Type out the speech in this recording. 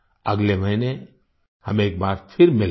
अगले महीने हम एक बार फिर मिलेंगे